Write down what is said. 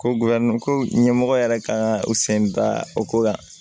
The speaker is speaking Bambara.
Ko ko ɲɛmɔgɔ yɛrɛ kan ka u sen da o ko kan